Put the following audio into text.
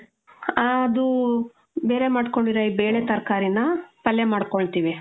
ಅದೂ, ಬೇರೆ ಮಾಡ್ಕೊಂಡಿರೋ ಈ ಬೇಳೆ, ತರ್ಕಾರಿನ್ನ ಪಲ್ಯ ಮಾಡ್ಕೊಳ್ತೀವಿ.